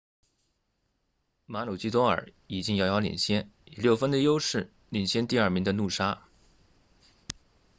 马鲁基多尔 maroochydore 已经遥遥领先以六分的优势领先第二名的努沙 noosa